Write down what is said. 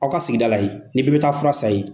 Aw ka sigida la yen, ni bɛɛ bɛ taa fura san ye